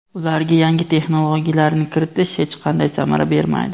ularga yangi texnologiyalarni kiritish hech qanday samara bermaydi.